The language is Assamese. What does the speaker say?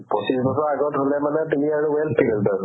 পঁচিছৰ আগত হ'লে মানে তুমি আৰু well cleared আৰু